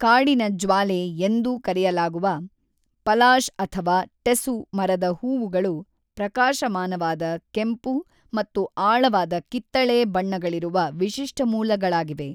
ಕಾಡಿನ ಜ್ವಾಲೆ ಎಂದೂ ಕರೆಯಲಾಗುವ ಪಲಾಶ್ ಅಥವಾ ಟೆಸು ಮರದ ಹೂವುಗಳು ಪ್ರಕಾಶಮಾನವಾದ ಕೆಂಪು ಮತ್ತು ಆಳವಾದ ಕಿತ್ತಳೆ ಬಣ್ಣಗಳಿರುವ ವಿಶಿಷ್ಟ ಮೂಲಗಳಾಗಿವೆ.